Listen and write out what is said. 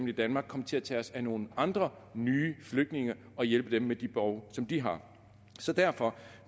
i danmark komme til at tage os af nogle andre nye flygtninge og hjælpe dem med de behov som de har så derfor